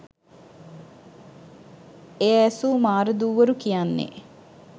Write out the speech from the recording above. එය ඇසූ මාරදූවරු කියන්නේ,